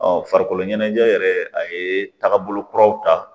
farikolo ɲɛnajɛ yɛrɛ a ye tagabolo kuraw ta